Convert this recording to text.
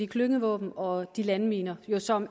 klyngevåben og landminer som